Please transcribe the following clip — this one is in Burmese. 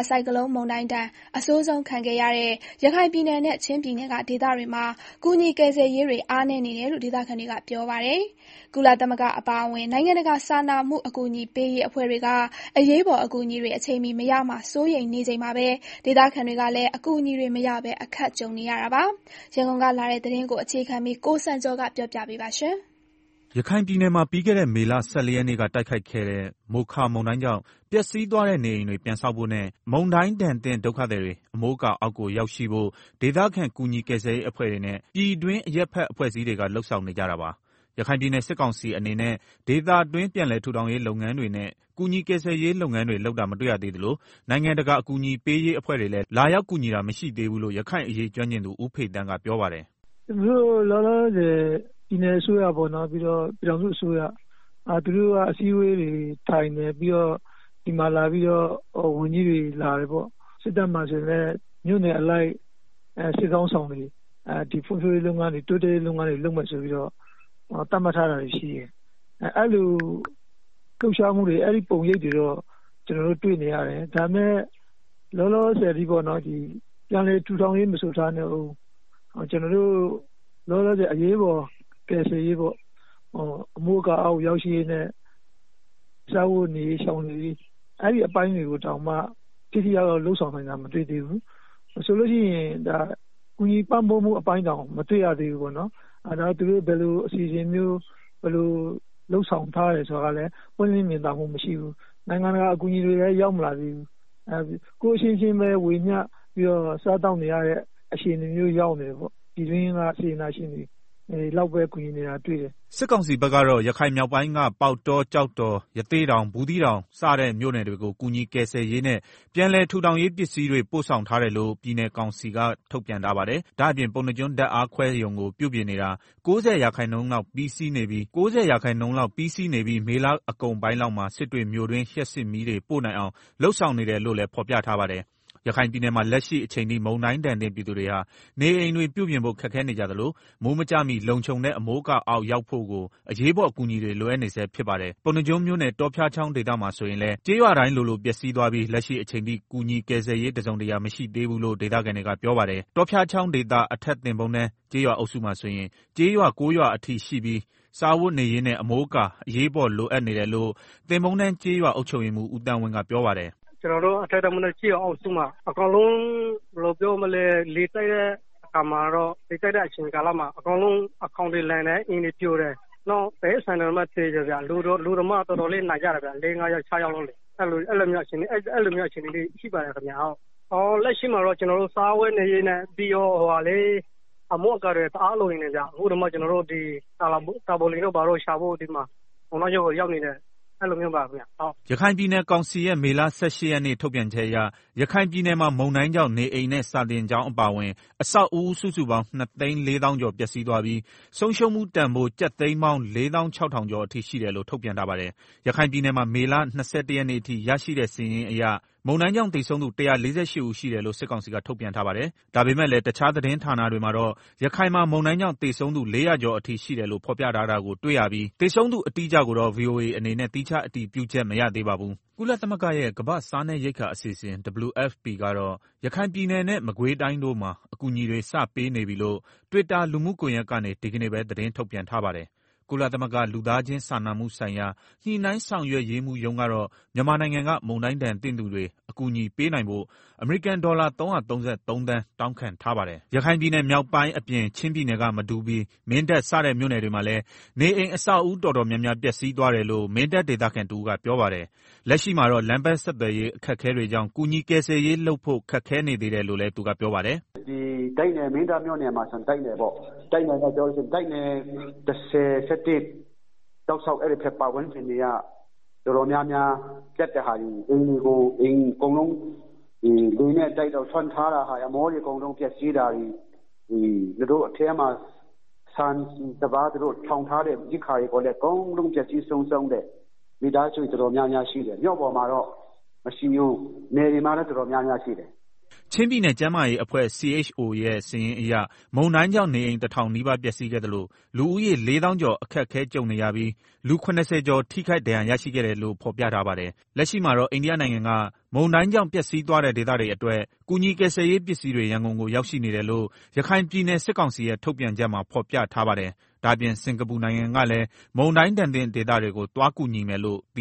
ဆိုင်ကလုန်း မုန်တိုင်းဒဏ် အဆိုးဆုံးခံခဲ့ရတဲ့ ရခိုင်ပြည်နယ်နဲ့ ချင်းပြည်နယ်က ဒေသတွေမှာ ကူညီကယ်ဆယ်ရေးတွေ အားနည်းနေတယ်လို့ ဒေသခံတွေက ပြောပါတယ်။ ကုလသမဂ္ဂ အပါအဝင် နိုင်ငံတကာ စာနာမှု အကူအညီပေးရေး အဖွဲ့တွေက အရေးပေါ်အကူအညီတွေ အချိန်မီ မရမှာ စိုးရိမ်နေချိန်မှာပဲ ဒေသခံတွေကလည်း အကူအညီတွေ မရပဲ အခက်ကြုံနေရတာပါ။ ရန်ကုန်ကလာတဲ့ သတင်းကိုအခြေခံပြီး ကိုစံကျော်က တင်ပြပေးပါမယ်။ ရခိုင်ပြည်နယ်မှာ ပြီးခဲ့တဲ့ မေလ ၁၄ရက်နေ့က တိုက်ခတ်ခဲ့တဲ့ မိုးခါ မုန်တိုင်းကြောင့် ပျက်စီးသွားတဲ့နေအိမ်တွေ ပြန်ဆောက်ဖို့နဲ့ မုန်တိုင်းဒဏ်သင့်ဒုက္ခသည်တွေ အမိုးအကာအောက်ကို ရောက်ရှိဖို့ ဒေသခံကူညီကယ်ရေးအဖွဲ့တွေနဲ့ ပြည်တွင်း အရပ်ဖက် အဖွဲ့အစည်းတွေက လုပ်ဆောင်နေကြတာပါ။ ရခိုင်ပြည်နယ် စစ်ကောင်စီအနေနဲ့ ဒေသတွင်း ပြန်လည်ထူထောင်ရေးလုပ်ငန်းတွေနဲ့ ကူညီ ကယ်ဆယ်ရေးလုပ်ငန်းတွေ လုပ်တာမတွေ့ရသေးသလို နိုင်ငံတကာ အကူအညီပေးရေးအဖွဲ့တွေလည်း လာရောက်ကူညီတာ မရှိသေးဘူးလို့ ရခိုင်အရေးကျွမ်းကျင်သူ ဦးဖေသန်းက ပြောပါတယ်။ “သူတို့လောလောဆယ် ပြည်နယ်အစိုးရ၊ ပြည်ထောင်စုအစိုးရ သူတို့က အစည်းအဝေးတွေထိုင်တယ်၊ ဝန်ကြီးတွေလာတယ်၊ စစ်တပ်မှာ ဆိုရင်လည်း မြို့နယ်အလိုက် စစ်ခေါင်းဆောင်တွေလာတယ်၊ ဖွံ့ဖြိုးရေးလုပ်ငန်းတွေ၊ တိုးတက်ရေးလုပ်ငန်းတွေ လုပ်မယ်ဆိုပြီးတော့ သတ်မှတ် ထားတာရှိတယ်။ အဲဒီသတ်မှတ်ချက်တွေ အဲဒီပုံရိပ်တွေတော့တွေ့တယ်။ ဒါပေမယ့် လောလောဆယ်အထိ ပြန်လည်ထူထောင်ရေး မဆိုထားနဲ့အုံး လက်ရှိအရေးပေါ် ကယ်ဆယ်ရေး၊ အမိုးအကာအောက်ရောက်ရှိရေးနဲ့ စားဝတ်နေရေးပြေလည်ရေး တွေကိုတောင်မှ ထိထိရောက်ရောက် လုပ်ဆောင်နိုင်တာ မတွေ့ရဘူး။ ကူညီပံ့ပိုးမှုအပိုင်းတောင် မတွေ့ရသေးဘူး။ သူတို့ ဘယ်လိုအစီအစဉ်၊ ဘယ်လိုအပိုင်းတွေ လုပ်ဆောင်ထားတယ် ဆိုတာကလည်း ပွင့်လင့်မြင်သာမှု မရှိဘူး။ နိုင်ငံတကာအကူအညီတွေလည်း ရောက်မလာသေးဘူး။ ကိုယ့်အချင်းချင်းပဲ ဝေမျှပြီးတော့ စားသောက်နေရတဲ့ အခြေအနေ ရောက်နေတယ်။ ပြည်တွင်းက စေတနာရှင်တွေလောက်ပဲ ကူညီနေတာတွေ့တယ်။” စစ်ကောင်စီဘက်ကတော့ ရခိုင်မြောက်ပိုင်းက ပေါက်တော၊ ကျောက်တော်၊ ရသေ့တောင်၊ ဘူးသီးတောင် စတဲ့ မြို့နယ်တွေကို ကူညီ ကယ်ဆယ်ရေးနဲ့ ပြန်လည်ထူထောင်ရေးပစ္စည်းတွေ ပို့ဆောင်ထားတယ်လို့ ပြည်နယ်ကောင်စီက ထုတ်ပြန်ထားပါတယ်။ ဒါ့အပြင် ပုဏ္ဏားကျွန်း ဓာတ်အားခွဲရုံကို ပြုပြင်နေတာ (၉၀)ရာခိုင်နှုန်းလောက် ပြီးစီးနေပြီး မေလအကုန်ပိုင်းလောက်မှာ စစ်တွေမြို့တွင်း လျှပ်စစ်မီးတွေ ပို့နိုင်အောင် လုပ်ဆောင်နေတယ်လို့လည်း ဖော်ပြထားပါတယ်။ ရခိုင်ပြည်နယ်မှာ လက်ရှိအချိန်ထိ မုန်တိုင်းဒဏ်သင့်ပြည်သူတွေဟာ နေအိမ်တွေပြုပြင်ဖို့ ခက်ခဲနေကြသလို မိုးမကျမှီ လုံခြုံတဲ့ အမိုးအကာအောက်ကိုရောက်ဖို့ အရေးပေါ်အကူအညီတွေ လိုအပ်နေဆဲဖြစ်ပါတယ်။ ပုဏ္ဏားကျွန်းမြို့နယ် တောဖျားချောင်းဒေသမှာ ဆိုရင်လည်း ကျေးရွာတိုင်းလိုလို ပျက်စီးသွားပြီး လက်ရှိအချိန်ထိ ကူညီကယ်ဆယ်ရေး တစုံတရာ မရှိသေးဘူးလို့ဒေသခံတွေက ပြောပါတယ်။ တောဖျားချောင်းဒေသ အထက်သန်းပုန်းတန်း ကျေရွာအုပ်စုမှာဆိုရင် ကျေးရွာ ၉ ရွာအထိရှိပြီး စားဝတ်နေရေးနဲ့ အမိုးအကာ အရေးပေါ် လိုအပ်နေတယ်လို့ သန်းပုန်းတန်းကျေးရွာ အုပ်ချုပ်ရေးမှူး ဦးသန်းဝင်းကပြောပါတယ်။ “ကျနော်တို့ အထက်သန်းပုန်းတန်း ကျေးရွာအုပ်စုမှာ အကုန်လုံး ခေါင်မိုးတွေလန်တယ်၊ အိမ်တွေပြိုတယ်၊ တိရိစ္ဆာန်တွေသေတယ်၊ လူတွေလည်း ၆ယောက်လောက် ဒဏ်ရာရကြတယ်။ အဲလိုအခြေအနေရှိတယ်။ လက်ရှိမှာတော့ ကျနော်တို့ စားဝတ်နေရေးနဲ့ အမိုးအကာတွေ တအား လိုနေတယ်ဗျာ။ အခုတောင်မှ ကျနော်တို့ တာပေါ်လိပ်တွေရနိုင်မလား ရှာမလို့ ပုဏ္ဏားကျွန်းမြို့ပေါ်ကို ရောက်နေတယ်။” ရခိုင်ပြည်နယ်ကောင်စီရဲ့ မေလ ၁၈ရက်နေ့ ထုတ်ပြန်ချက်အရ ရခိုင်ပြည်နယ်မှာ မုန်တိုင်းကြောင့် နေအိမ်နဲ့ စာသင်ကျောင်းအပါအဝင် အဆောက်အဦး စုစုပေါင်း ၂၄၀,၀၀၀ကျော် ပျက်စီးသွားပြီး ဆုံးရှုံးမှုတန်ဖိုး ကျပ်သိန်းပေါင်း ၄၆,၀၀၀ကျော်အထိ ရှိတယ်လို့ ထုတ်ပြန်ထားပါတယ်။ ရခိုင်ပြည်နယ်မှာ မေလ ၂၁ရက်နေ့အထိ ရရှိတဲ့စာရင်းအရ မုန်တိုင်းကြောင့် သေဆုံးသူ ၁၄၈ ဦးရှိတယ်လို့ စစ်ကောင်စီက ထုတ်ပြန်ထားပါတယ်။ ဒါပေမယ့်လည်း တခြားသတင်းဌာနတွေမှာတော့ ရခိုင်မှာ မုန်တိုင်းကြောင့် သေဆုံး ၄၀၀ကျော် အထိရှိတယ်လို့ ဖော်ပြထားတာကိုတွေ့ရပြီး သေဆုံးသူအတိအကျကိုတော့ ဗွီအိုအေအနေနနဲ့ သီးခြားအတည်ပြုချက်မရသေးပါဘူး။ ကုလသမဂ္ဂရဲ့ ကမ္ဘာ့စားနပ်ရိက္ခာအစီအစဉ် (WFP) ကတော့ ရခိုင်ပြည်နယ်နဲ့ မကွေးတိုင်းတို့မှာ အကူအညီတွေ စပေးနေပြီလို့ Twitter လူမှုကွန်ရက်ကနေ ဒီကနေ့ပဲ သတင်းထုတ်ပြန်ထားပါတယ်။ ကုလသမဂ္ဂ လူသားချင်းစာနာမှုဆိုင်ရာ ညှိနှိုင်းဆောင်ရွက်ရေးမှူးရုံးကတော့ မြန်မာနိုင်ငံက မုန်တိုင်းဒဏ်သင့်သူတွေ အကူအညီပေးနိုင်ဖို့ ဒေါ်လာ ၃၃၃ သန်း တောင်းခံထားပါတယ်။ ရခိုင်ပြည်နယ်မြောက်ပိုင်းအပြင် ချင်းပြည်နယ်က မတူပီ၊ မင်းတပ် စတဲ့မြို့နယ်တွေမှာလည်း နေအိမ်အဆောက်အဦး တော်တော်များများ ပျက်စီးသွားတယ်လို့ မင်းတပ်ဒေသခံ တဦးကပြောပါတယ်။ လက်ရှိမှာတော့ လမ်းပန်းဆက်သွယ်ရေး အခက်အခဲတွေကြောင့် ကူညီ ကယ်ဆယ်ရေးလုပ်ဖို့ ခက်ခဲနေသေးတယ်လို့လည်း သူကပြောပါတယ်။ “မင်းတပ်မြို့နယ်မှာဆိုရင် တိုက်နယ်ပေါ့၊ တိုက်နယ် ၁၀ ၊ ၁၁ တောက်လျောက် အဲဒီဘက် ပတ်ဝန်းကျင်တွေကအိမ်တွေ အကုန်လုံး ခေါင်းမိုးတွေ အကုန်လုံး ပျက်စီးတာတွေ၊ သူတို့မှာ သိုလှောင်ထားတဲ့ ရိက္ခာတွေအကုန်လုံး ပျက်စီးတယ်။ မိသားစုတော်တော်များများရှိတယ်။ မြို့ပေါ်မှာတော့ မရှိဘူး၊ နယ်တွေမှာ တော်တော်များများ ပျက်စီးတယ်။” ချင်းပြည်နယ် ကျန်းမာရေးအဖွဲ့ (CHO) ရဲ့ စာရင်းအရ မုန်းတိုင်းကြောင့် နေအိမ် တစ်ထောင်နီးပါး ပျက်စီးခဲ့သလို၊ လူဦးရေ ၄သောင်းကျော် အခက်အခဲကြုံနေရပြီး လူ ၇၀ကျော် ထိခိုက် ဒဏ်ရာရရှိခဲ့တယ်လို့ဖော် ပြထားပါတယ်။ လက်ရှိမှာတော့ အိန္ဒိယနိုင်ငံက မုန်တိုင်းကြောင့် ပျက်စီးသွားတဲ့ ဒေသတွေအတွက် ကူညီကယ်ဆယ်ရေးပစ္စည်းတွေ ရန်ကုန်ကို ရောက်ရှိနေတယ်လို့ ရခိုင်ပြည်နယ်ကောင်စီရဲ့ ထုတ်ပြန်ချက်မှာ ဖော်ပြထားပါတယ်။ ဒါ့အပြင် စင်ကာပူနိုင်ငံကလည်း မုန်တိုင်းဒဏ်သင့်ဒေသတွေကို ကူညီသွားမယ်လို့ သ